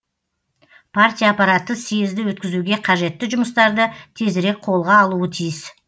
партия аппараты съезді өткізуге қажетті жұмыстарды тезірек қолға алуы тиіс